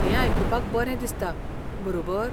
हें आयकुपाक बरें दिसता, बरोबर?